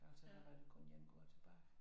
Altså der var der kun 1 går tilbage